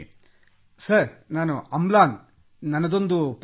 sir ನನ್ನದೊಂದು ಪ್ರಶ್ನೆಯಿದೆ